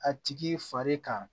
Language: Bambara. A tigi fari kan